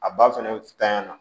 A ba fɛnɛ tanɲa na